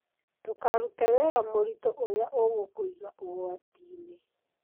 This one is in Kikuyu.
Ndũkarute wĩra mũritũ ũria ũgũkũiga ũgwatinĩ.